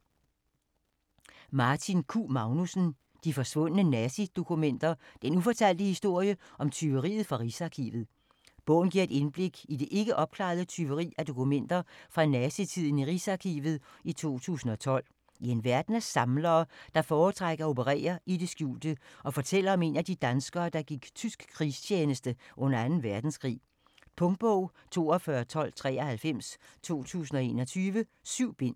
Magnussen, Martin Q.: De forsvundne nazidokumenter: den ufortalte historie om tyveriet fra Rigsarkivet Bogen giver et indblik i det ikke opklarede tyveri af dokumenter fra nazi-tiden fra Rigsarkivet i 2012, i en verden af samlere der foretrækker at operere i det skjulte og fortæller om en af de danskere der gik i tysk krigstjeneste under 2 verdenskrig. Punktbog 421293 2021. 7 bind.